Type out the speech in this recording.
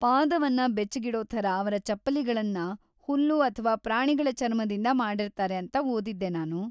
ಪಾದವನ್ನ ಬೆಚ್ಚಗಿಡೊ ಥರ ಅವ್ರ ಚಪ್ಪಲಿಗಳನ್ನ ಹುಲ್ಲು ಅಥ್ವಾ ಪ್ರಾಣಿಗಳ ಚರ್ಮದಿಂದ ಮಾಡಿರ್ತಾರೆ ಅಂತ ಓದಿದ್ದೆ ನಾನು.